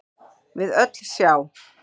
við öllu sjá